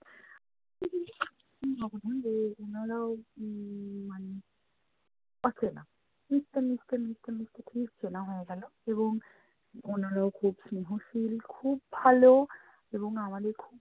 ওনারও উম মানে অচেনা। মিশতে মিশতে মিশতে মিশতে খুব চেনা হয়ে গেলো এবং ওনারও খুব স্নেহশীল খুব ভালো এবং আমাদের খুবই